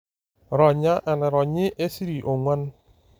Ronya enaironyi esiri 4.